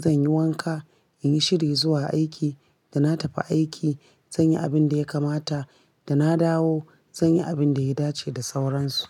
zanyi wanka, inyi shiri zuwa aiki. Dana tafi aiki, zanyi abindiya kamata, dana dawo, zanyi abindiya dace da sauransu.